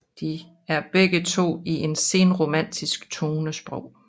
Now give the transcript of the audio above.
De er begge to i et senromantisk tonesprog